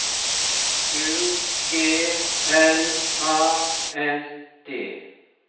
U G L A N D